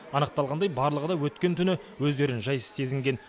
анықталғандай барлығы да өткен түні өздерін жайсыз сезінген